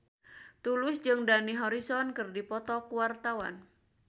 Tulus jeung Dani Harrison keur dipoto ku wartawan